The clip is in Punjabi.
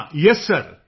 ਹਾਂ ਯੇਸ ਸਿਰ